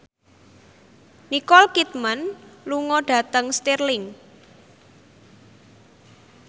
Nicole Kidman lunga dhateng Stirling